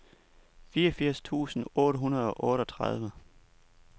fireogfirs tusind otte hundrede og otteogtredive